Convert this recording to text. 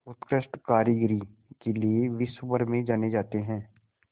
उत्कृष्ट कारीगरी के लिये विश्वभर में जाने जाते हैं